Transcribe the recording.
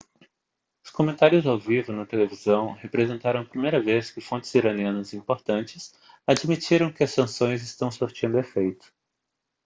os comentários ao vivo na televisão representaram a primeira vez que fontes iranianas importantes admitiram que as sanções estão surtindo efeito